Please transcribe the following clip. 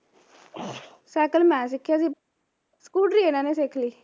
cycle ਮੈਂ ਸਿੱਖਿਆ ਸੀ ਸਕੂਟਰੀ ਇਹਨਾਂ ਨੇ ਸਿਖਲੀ